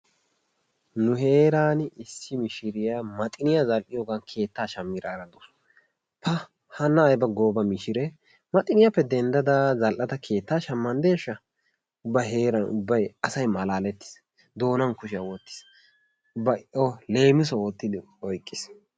Nu heeran issi mishiriyaa maxiniyaa zai"iyoogan keettaa shammiraara dawusu. Ha hanna ayiba gooba mishree! maxiniyaappa denddada zal"ada keettaa shammanddeeshsha! ubba heeran ubbay asay malaalettiis. Doonan kushiya wottiis. ubbay O leemiso oottidi oyiqqiis.